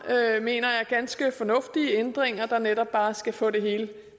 mener jeg er ganske fornuftige ændringer der netop bare skal få det hele